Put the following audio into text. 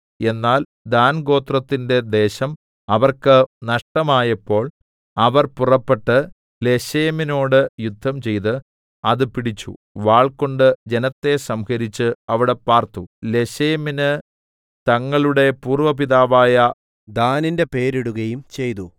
എന്നാൽ ദാൻഗോത്രത്തിന്റെ ദേശം അവർക്ക് നഷ്ടമായപ്പോൾ അവർ പുറപ്പെട്ട് ലേശെമിനോട് യുദ്ധം ചെയ്ത് അത് പിടിച്ചു വാൾകൊണ്ട് ജനത്തെ സംഹരിച്ച് അവിടെ പാർത്തു ലേശെമിന് തങ്ങളുടെ പൂർവപിതാവായ ദാനിന്റെ പേരിടുകയും ചെയ്തു